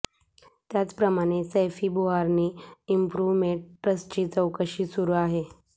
त्याचप्रमाणे सैफी बुर्हानी इंप्रूव्हमेंट ट्रस्टची चौकशी सुरू आहे